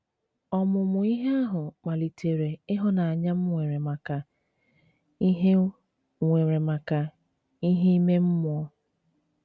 Ọmụmụ ihe ahụ kpalitere ịhụnanya m nwere maka ihe nwere maka ihe ime mmụọ